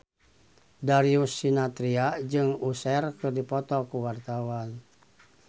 Darius Sinathrya jeung Usher keur dipoto ku wartawan